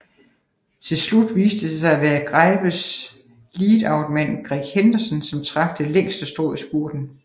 Tilslut viste det sig at være Greipels leadoutman Greg Henderson som trak det længste strå i spurten